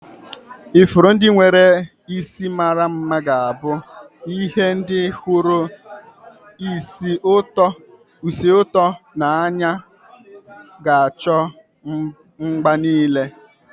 Ifuru ndị nwere isi mara mma ga-abụ ie ndị hụrụ ísì ụtọ n'anya ga n'acho mgbe niile.